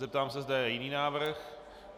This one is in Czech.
Zeptám se, zda je jiný návrh.